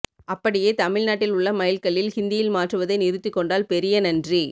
அப்படியே தமிழ்நாட்டில் உள்ள மைல் கல்லில் ஹிந்தியில் மாற்றுவதை நிறுத்திக் கொண்டால் பெரிய நனறி